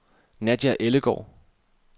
Nadja Ellegaard